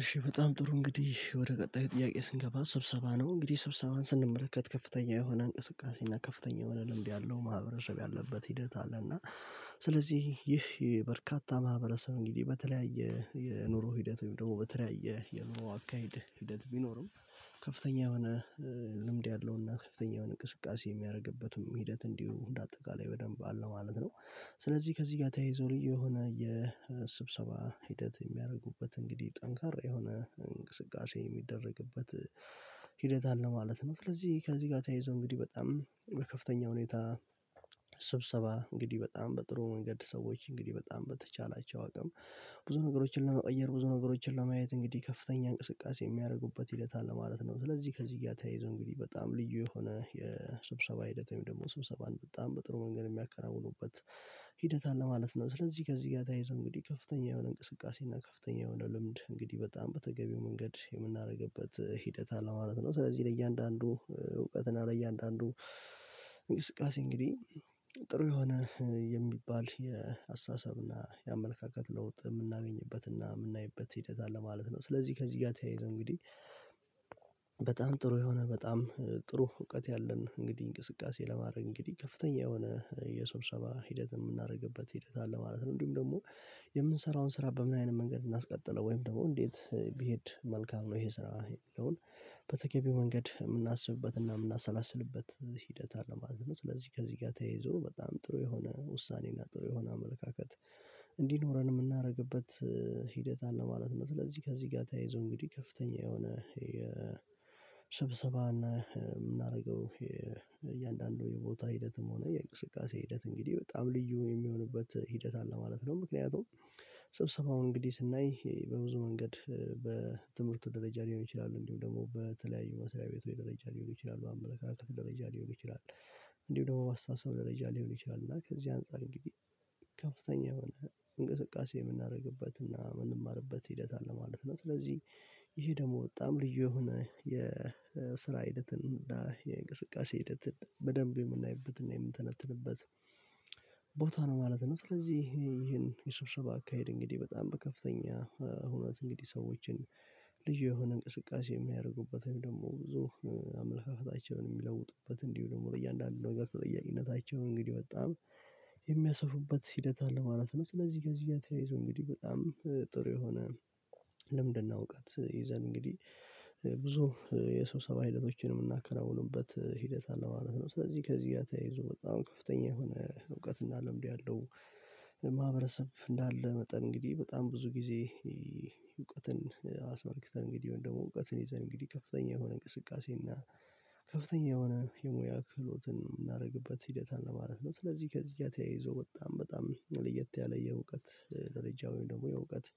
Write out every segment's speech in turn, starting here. እሺ በጣም ጥሩ እንግዲህ ወደ ቀጣይ ጥያቄ ስንገባ ስብሰባ ነው። እንግዲህ ስብሰባን ስንመለከት ከፍተኛ የሆነ እንቅስቃሴ እና ከፍተኛ የሆነ ልምድ ያለው ማህበረሰብ ያለበት ሂደት አለና። ስለዚህ ይህ በርካታ ማህበረሰብ እንግዲህ በተለያየ የኑሮ ሂደት ወይም ደግሞ በተለያየ የኑሮ አካሄድ ሂደት ቢኖርም ከፍተኛ የሆነ ልምድ ያለውና ከፍተኛ እንቅስቃሴ የሚያደርግበትም ሂደት እንዲሁ እንደ አጠቃላይ በደንብ አለው ማለት ነው። ስለዚህ ከዚህ ጋር ተያይዞ ልዩ የሆነ የስብሰባ ሂደት የሚያደርጉበት እንግዲህ ጠንካራ የሆነ እንቅስቃሴ የሚደረግበት ሂደት አለ ማለት ነው። ስለዚህ ከዚህ ጋር ተያይዞ እንግዲህ በጣም በከፍተኛ ሁኔታ ስብሰባ እንግዲህ በጣም በጥሩ መንገድ ሰዎች እንግዲህ በጣም በተቻላቸው አቅም ብዙ ነገሮችን ለመቀየር ብዙ ነገሮችን ለማየት እንግዲህ ከፍተኛ እንቅስቃሴ የሚያደርጉበት ሂደት አለ ማለት ነው። ስለዚህ ከዚህ ጋር ተያይዘው እንግዲህ በጣም ልዩ የሆነ የስብሰባ ሂደት ወይም ደግሞ ስብሰባን በጣም በጥሩ መንገድ የሚያከናውኑበት ሂደት አለ ማለት ነው። ስለዚህ ከዚህ ጋር ታይዘው እንግዲህ ከፍተኛ የሆነ እንቅስቃሴ እና ከፍተኛ የሆነ ልምድ እንግዲህ በጣም በተገቢው መንገድ የምናደርግበት ሂደት አለ ማለት ነው። ስለዚህ ለእያንዳንዱ እውቀትና ለእያንዳንዱ እንግስቃሴ እንግዲህ ጥሩ የሆነ የሚባል የአስተሳሰብ እና የአመለካከት ለውጥ የምናገኝበትና የምናይበት ሂደት አለ ማለት ነው። ስለዚህ ከዚህ ጋር ተያይዞ እንግዲህ በጣም ጥሩ የሆነ በጣም ጥሩ እውቀት ያለን እንግዲህ እንቅስቃሴ ለማድረግ እንግዲህ ከፍተኛ የሆነ የሰብሰባ ሂደት የምናደርግበት ሂደት አለ ማለት ነው። እንዲሁም ደግሞ የምንሰራውን ስራ በምን አይነት መንገድ እናስቀጥለው ወይም ደግሞ እንዴት ቢሄድ መልካም ነው ይሄ ስራ የሚለውን በተገቢው መንገድ የምናስብበት እና የምናሰላስልበት ሂደት አለ። ማለት ከዚህ ከዚህ ጋር ተያይዞ በጣም ጥሩ የሆነ ውሳኔና ጥሩ የሆነ አመለካከት እንዲኖረን የምናደርግበት ሂደት አለ ማለት ነው። ስለዚህ ከዚህ ጋር ተያይዞ እንግዲህ ከፍተኛ የሆነ የሰብሰባና የምናደርገው የእያንዳንዱ የቦታ ሂደትም ሆነ የእንቅስቃሴ ሂደት እንግዲህ በጣም ልዩ የሚሆንበት ሂደት አለ ማለት ነው። ምክንያቱም ስብሰባውን እንግዲህ ስናይ በብዙ መንገድ በትምህርቱ ደረጃ ሊሆን ይችላሉ እንዲሁም ደግሞ በተለያዩ መስርያ ቤቶች ደረጃ ሊሆን ይችላሉ በአምለካከት ደረጃ ሊሆን ይችላል። እንዲሁ ደግሞ ባስተሳሰብ ደረጃ ሊሆን ይችላል እና ከዚህ አንፃር እንግዲህ ከፍተኛ የሆነ እንቅስቃሴ የምናደርግበትና የምንማርበት ሂደት አለ ማለት ነው። ስለዚህ ይሄ ደግሞ በጣም ልዩ የሆነ የስራ ሂደትን እና የእንቅስቃሴ ሂደት በደንብ የምናይበትና የምንተነትንበት ቦታ ነው ማለት ነው። ስለዚህ ይሄን የስብሰባ አካሄድ እንግዲህ በጣም በከፍተኛ እውነት እንግዲህ ሰዎችን ልዩ የሆነ እንቅስቃሴ የሚያደርጉበት ወይም ደግሞ ብዙ አመለካከታቸውን የሚለውጡበት እንዲሁ ደግሞ እያንዳንዱ ነገር ተጠያቂነታቸውን እንግዲህ በጣም የሚያስፉበት ሂደት አለ ማለት ነው። ስለዚህ ጋር ከዚህ ጋር ተያይዞ እንግዲህ በጣም ጥሩ የሆነ ልምድና እውቀት ይዘን እንግዲህ ብዙ የስብሰባ ህይወቶችን የምናከናውኑበት ሂደት አለ ማለት ነው። ስለዚህ ከዚህ ጋር ተያይዞ በጣም ከፍተኛ የሆነ እውቀትና ልምዱ ያለው ማህበረሰብ እንዳለ በጣም እንግዲህ በጣም ብዙ ጊዜ እውቀትን አስመልክተን እንግዲህ ወይ ደግሞ እውቀትን ይዘን እንግዲህ ከፍተኛ የሆነ እንቅስቃሴ እና ከፍተኛ የሆነ የሙያ ክህሎትን የምናደርግበት ሂደት አለ ማለት ነው። ስለዚህ ከዚህ ጋር ተያይዞ በጣም፣ በጣም ለየት ያለ የእውቀት ደረጃ ወይ ደግሞ የእውቀት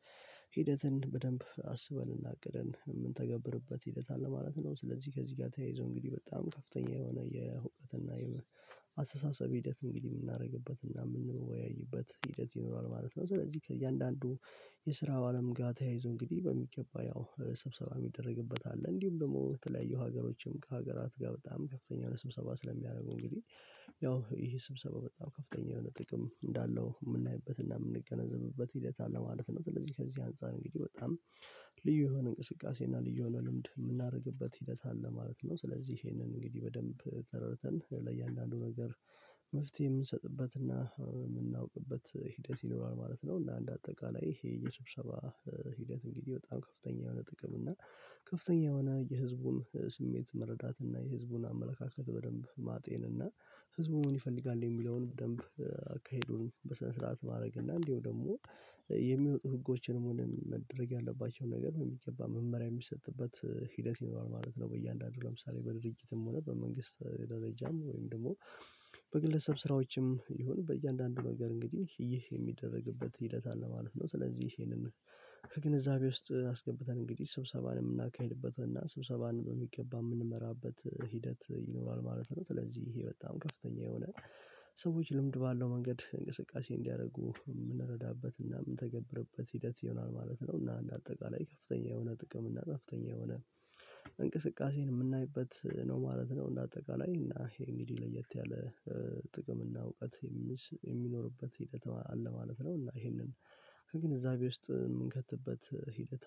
ሂደትን በደንብ አስበን አቅደን የምንተገብርበት ሂደት አለ ማለት ነው። ስለዚህ ከዚህ ጋር ተያይዞ እንግዲህ በጣም ከፍተኛ የሆነ የሁክትና የአስተሳሰብ ሂደት እንግዲህ የምናደርግበትና የምንወያይበት ሂደት ይኖራል ማለት ነው። ስለዚህ ከእያንዳንዱ የስራው አለም ጋር ተያይዞ እንግዲህ በሚገባ ያው ስብሰባ የሚደረግበት አለ እንዲሁም ደግሞ ተለያዩ ሀገሮችም ከሀገራት ጋር በጣም ከፍተኛ የሆነ ስብሰባ ስለሚያደርጉ እንግዲህ ያው ይሄ ስብሰባ በጣም ከፍተኛ የሆነ ጥቅም እንዳለው የምናይበት የምንገነዘብበት ሂደት አለ ማለት ነው። ስለዚህ ከዚህ አንፃር እንግዲህ በጣም ልዩ የሆነ እንቅስቃሴ እና ልዩ የሆነ ልምድ የምናደርግበት ሂደት አለ ማለት ነው። ስለዚህ ይሄንን እንግዲህ በደንብ ተረድተን ለእያንዳንዱ ነገር መፍትሄ የምንሰጥበትና የምናውቅበት ሂደት ይኖራል ማለት ነው። እና እንደ አጠቃላይ ይሄ የስብሰባ ሂደት እንግዲህ በጣም ከፍተኛ የሆነ ጥቅም እና ከፍተኛ የሆነ የህዝቡን ስሜት መረዳት እና የህዝቡን አመለካከት በደንብ ማጤን እና ህዝቡ ምን ይፈልጋል የሚለውን ደንብ አካሄዱን በሰነ ስረዓት ማድረግ እና እንዲሁም ደግሞ የሚወጡ ህጎችንም ሆነ መደረግ ያለባቸው ነገር የሚገባ መመሪያ የሚሰጥበት ሂደት ይኖራል ማለት ነው። በእያንዳንዱ ለምሳሌ በድርጅትም ሆነ በመንግስት ደረጃም ወይም ደግሞ በግለሰብ ስራዎችም ይሁን በእያንዳንዱ ነገር እንግዲህ ይህ የሚደረግበት ሂደት አለ ማለት ነው። ስለዚህ ይሄንን ከግንዛቤ ውስጥ አስገብተን እንግዲህ ስብሰባን የምናካሂድበት እና ስብሰባን በሚገባ የምንመራበት ሂደት ይኖራል ማለት ነው። ስለዚህ ይሄ በጣም ከፍተኛ የሆነ ሰዎች ልምድ ባለው መንገድ እንቅስቃሴ እንዲያደርጉ የምንረዳበትና የምንተገብርበት ሂደት ይሆናል ማለት ነው። እና አንድ አጠቃላይ ከፍተኛ የሆነ ጥቅም እና ከፍተኛ የሆነ እንቅስቃሴን የምናይበት ነው ማለት ነው። እንደ አጠቃላይ እና ይሄ እንግዲህ ለየት ያለ ጥቅም እና እውቀት የሚኖርበት ሂደት አለ ማለት ነው። እና ይሄንን ከግንዛቤ ውስጥ የምንከትበት ሂደት